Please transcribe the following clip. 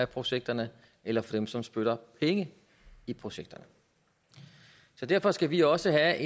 projekterne eller for dem som spytter penge i projekterne derfor skal vi også have